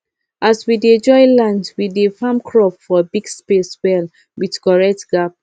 as we dey join land we dey farm crops for big space well with correct gap